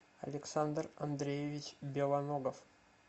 александр андреевич белоногов